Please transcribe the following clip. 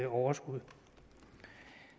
overskud